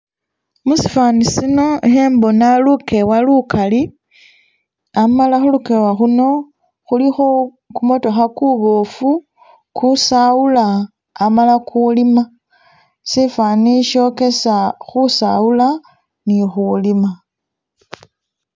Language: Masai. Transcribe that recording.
Musifani sino ikhembona lukewa lukali, amala khulukewa Khuno khulikho kumotokha kuboofu , ukusawuula amala ukuliima, sifani shokesa khusawula ne khulima.